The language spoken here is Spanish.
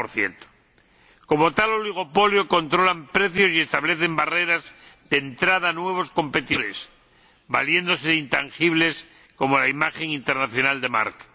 90 Como tal oligopolio, controlan precios y establecen barreras de entrada a nuevos competidores, valiéndose de intangibles como la imagen internacional de marca.